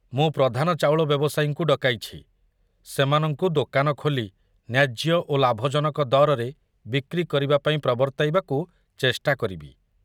ମୁଁ ପ୍ରଧାନ ଚାଉଳ ବ୍ୟବସାୟୀଙ୍କୁ ଡକାଇଛି, ସେମାନଙ୍କୁ ଦୋକାନ ଖୋଲି ନ୍ୟାଯ୍ୟ ଓ ଲାଭଜନକ ଦରରେ ବିକ୍ରି କରିବାପାଇଁ ପ୍ରବର୍ତ୍ତାଇବାକୁ ଚେଷ୍ଟା କରିବି।